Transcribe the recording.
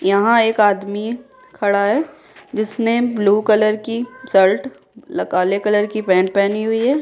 यहाँ एक आदमी खड़ा है जिसने ब्लू कलर की शर्ट काले कलर की पेंट पहनी हुई है।